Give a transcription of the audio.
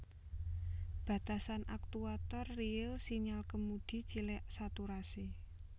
Batasan aktuator riil Sinyal kemudi cilik saturasi